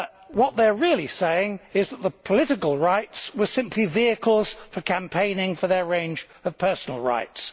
What they are really saying is that the political rights were simply vehicles for campaigning for their range of personal rights.